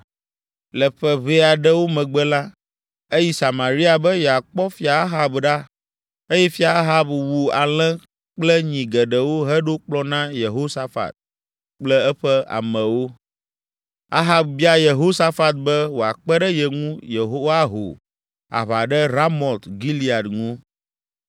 Le ƒe ʋɛe aɖewo megbe la, eyi Samaria be yeakpɔ Fia Ahab ɖa eye Fia Ahab wu alẽ kple nyi geɖewo heɖo kplɔ̃ na Yehosafat kple eƒe amewo. Ahab bia Yehosafat be wòakpe ɖe ye ŋu yewoaho aʋa ɖe Ramot Gilead ŋu.